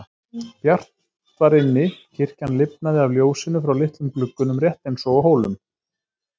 Bjart var inni, kirkjan lifnaði af ljósinu frá litlum gluggunum rétt eins og á Hólum.